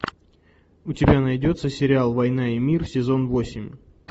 у тебя найдется сериал война и мир сезон восемь